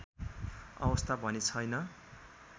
अवस्था भने छैन